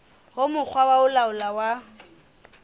ho mokga o laolang wa